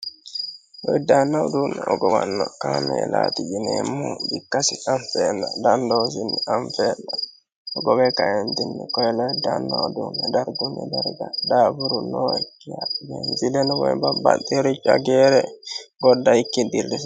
Lowiddaanna uduunni hogowanno kaameelati yineemmo bikkasi anifenna danidosino anifeenna hogowe kaentinni koyiliddaann uduunne dargunni darga daafuru nookiya beenziileno woyi babbaxericho ageere godd'aikki dirri